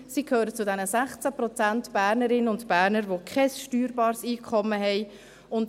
Sie gehören zu den 16 Prozent Bernerinnen und Berner, die kein steuerbares Einkommen haben.